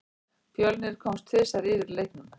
Fjölnir komst tvisvar yfir í leiknum.